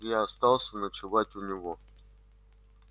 я остался ночевать у него